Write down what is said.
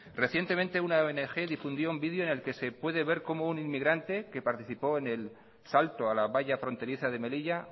recientemente una ong difundió un video en el que se puede ver como un inmigrante que participó en el salto a la valla fronteriza de melilla